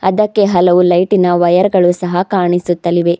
ಅದಕೆ ಹಲವು ಲೈಟಿನ ವಯರ್ ಗಳು ಸಹ ಕಾಣಿಸುತ್ತಲಿವೆ.